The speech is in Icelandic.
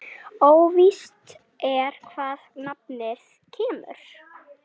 Óvíst er hvaðan nafnið kemur.